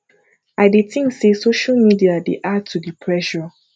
i dey think say social media dey add to di pressure